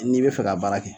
N'i bɛ fɛ ka baara kɛ